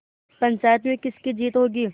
पंचायत में किसकी जीत होगी